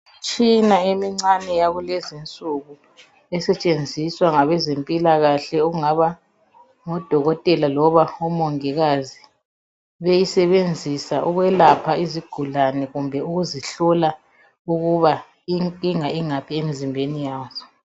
Imitshina emincane yakulezinsuku esetshenziswa ngabezempilakahle okungaba ngodokotela loba omongikazi beyisebenzisa ukwelapha izigulane kumbe ukuzihlola ukuba inkinga ingaphi emzimbeni yazo.